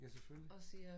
Ja selvfølgelig